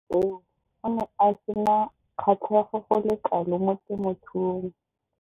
Mo nakong eo o ne a sena kgatlhego go le kalo mo temothuong.